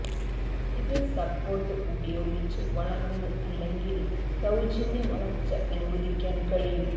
ഇത് സപ്പോർട്ട് ഉപയോഗിച്ച് വളർന്ന് അല്ലെങ്കിൽ സൌജന്യ വളർച്ച അനുവദിക്കാൻ കഴിയും